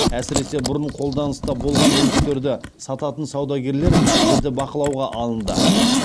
әсіресе бұрын қолданыста болған мүліктерді сататын саудагерлер жіті бақылауға алынды